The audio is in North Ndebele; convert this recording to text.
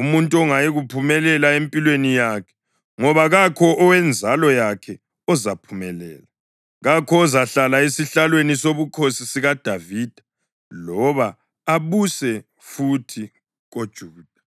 umuntu ongayikuphumelela empilweni yakhe, ngoba kakho owenzalo yakhe ozaphumelela, kakho ozahlala esihlalweni sobukhosi sikaDavida loba abuse futhi koJuda.”